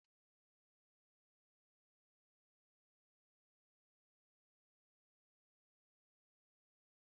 N'ezie!, ụlọ akụ ndị oyibo n'akpọ "Zenith Bank" bụ otu n'ime ụlọ akụ azụmaahịa